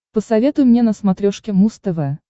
посоветуй мне на смотрешке муз тв